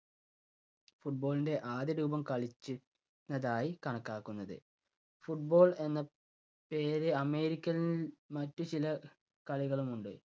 football ൻ്റെ ആദ്യ രൂപം കളിച്ചി~രുന്നതായി കണക്കാക്കുന്നത്. football എന്ന പേര് അമേരിക്കയിൽ മറ്റു ചില കളികളുമുണ്ട്.